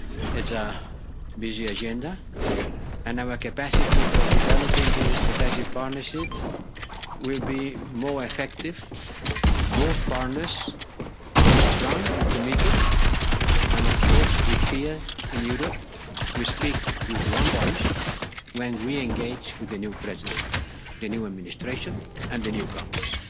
It's a busy agenda and our capacity for developing digital strategy partnerships will be more effective if both partners are strong and committed, and of course here in Europe we speak with one voice when we engage with the new President, the new administration and the new Congress.